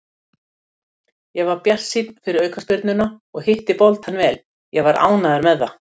Ég var bjartsýnn fyrir aukaspyrnuna og hitti boltann vel, ég var ánægður með það.